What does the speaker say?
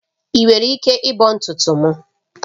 Ị nwere ike ịbọ ntutu m?